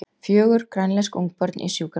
Fjögur grænlensk ungbörn í sjúkraflugi